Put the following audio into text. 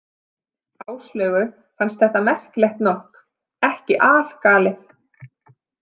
Áslaugu fannst þetta, merkilegt nokk, ekki algalið.